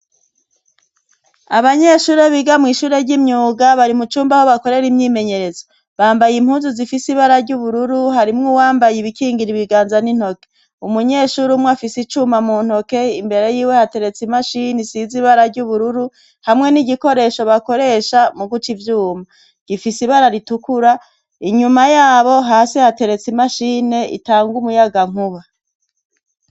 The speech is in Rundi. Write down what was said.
Abanyeshuri biga mw'ishure ry'imyuga bari mu cumba aho bakorere imyimenyerezo, bambaye impunzu zifise ibara ry'ubururu harimwe uwambaye ibikingira ibiganza n'intoke, umunyeshuri umwe afise icuma mu ntoke imbere y'iwe hateretse imashini size ibara ry'ubururu hamwe n'igikoresho bakoresha mu guca ivyuma gifise ibara ritukura inyuma yabo hasi hateretsi imashini itanga umuyagankuba.